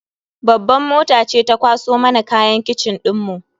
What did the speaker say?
Babban mota ce ta kwaso mana kayan kitchen dinmu.